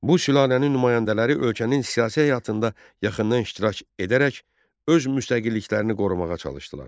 Bu sülalənin nümayəndələri ölkənin siyasi həyatında yaxından iştirak edərək öz müstəqilliklərini qorumağa çalışdılar.